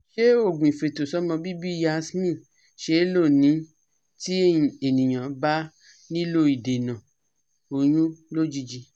Se ogun ifeto somo bibi yasmin se lo ni ti eniyan ba nilo idena oyun lojiji